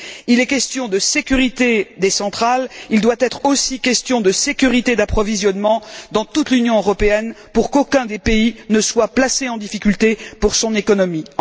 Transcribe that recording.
Il est question de sécurité des centrales, il doit être aussi question de sécurité d'approvisionnement dans toute l'Union européenne pour qu'aucun des pays ne soit placé en difficulté pour son économie.